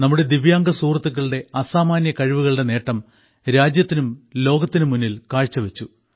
നമ്മുടെ ദിവ്യാംഗ സുഹൃത്തുക്കളുടെ അസാമാന്യ കഴിവുകളുടെ നേട്ടം രാജ്യത്തിനും ലോകത്തിനു തന്നെയും നലകി